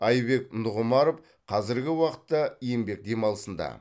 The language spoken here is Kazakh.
айбек нұғымаров қазіргі уақытта еңбек демалысында